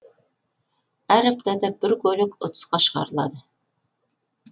әр аптада бір көлік ұтысқа шығарылады